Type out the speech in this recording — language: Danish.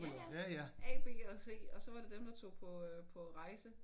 Ja ja A B eller C og så var det dem der tog på øh på rejse